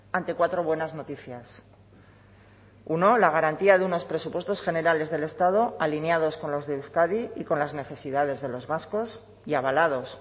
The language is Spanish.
ante cuatro buenas noticias uno la garantía de unos presupuestos generales del estado alineados con los de euskadi y con las necesidades de los vascos y avalados